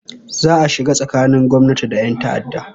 Za a shiga tsakanin gwamnati da 'yan ta'adda